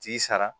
T'i sara